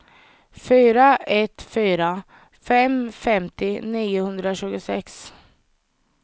fyra ett fyra fem femtio niohundratjugosex